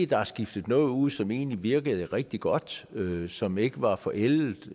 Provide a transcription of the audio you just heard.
der er skiftet noget ud som egentlig virkede rigtig godt som ikke var forældet